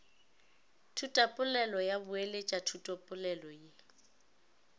thutapolelo ya boeletša thutapolelo ye